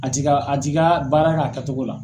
A t'i ka a t'i ka baara k'a kɛcogo la.